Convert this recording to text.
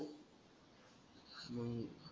मंग